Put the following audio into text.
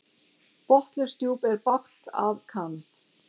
Botnlaust djúp er bágt að kann.